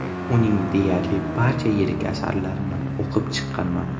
Uning deyarli barcha yirik asarlarini o‘qib chiqqanman.